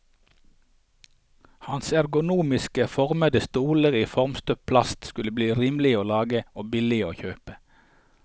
Hans ergonomisk formede stoler i formstøpt plast skulle bli rimelige å lage og billige å kjøpe.